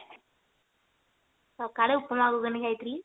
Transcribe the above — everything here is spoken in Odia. ସକାଳେ ଉପମା ଘୁଗୁନି ଖାଇଥିଲି